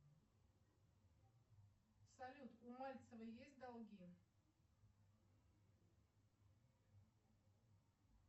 салют у мальцевой есть долги